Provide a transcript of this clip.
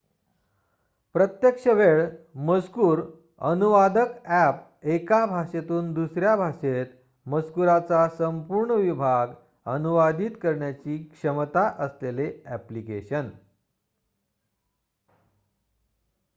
प्रत्यक्ष वेळ मजकूर अनुवादक ॲप एका भाषेतून दुसऱ्या भाषेत मजकूराचा संपूर्ण विभाग अनुवादीत करण्याची क्षमता असलेले ॲप्लिकेशन